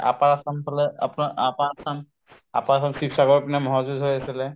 upper assam ফালে আপোনাৰ upper assam upper assam, শিৱসাগৰৰ পিনে মহৰ যুঁজ হৈ আছিলে